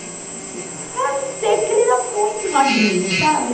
Ah, não sei, porque ele era muito magrinho, sabe?